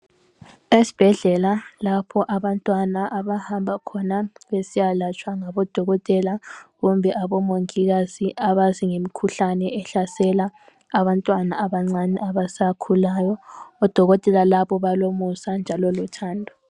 Esibhedlela lapho abantwana abahamba khona besiyalatshwa ngabodokotela kumbe abomongikazi abazi ngemikhuhlane ehlasela abantwana abancane abasakhulayo odokotela labo balomusa kanjalo lothando